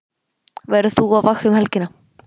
Verður þú á vakt um helgina?